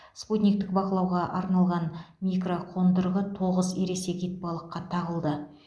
спутниктік бақылауға арналған микроқондырғы тоғыз ересек итбалыққа тағылды